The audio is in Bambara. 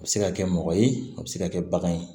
A bɛ se ka kɛ mɔgɔ ye a bɛ se ka kɛ bagan ye